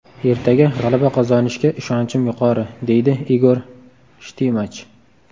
Ertaga g‘alaba qozonishga ishonchim yuqori, – deydi Igor Shtimach.